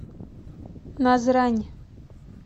назрань